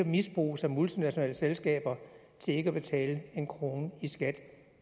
misbruges af multinationale selskaber til ikke at betale en krone i skat